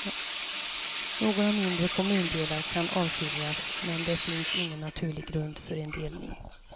Några mindre kommundelar kan avskiljas men det finns ingen naturlig grund för en delning.